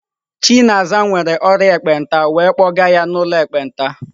Chinaza nwere ọrịa ekpenta wee kpọga ya n'ụlọ ekpenta.